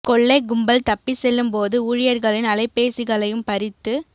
கொள்ளை கும்பல் தப்பி செல்லும் போது ஊழியர்களின் அலைபேசிகளையும் பறித்து